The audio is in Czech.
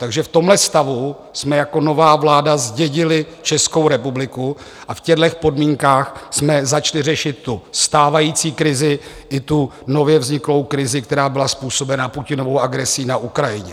Takže v tomhle stavu jsme jako nová vláda zdědili Českou republiku a v těchto podmínkách jsme začali řešit tu stávající krizi i tu nově vzniklou krizi, která byla způsobena Putinovou agresí na Ukrajině.